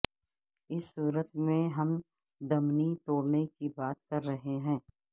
اس صورت میں ہم دمنی توڑنے کی بات کر رہے ہیں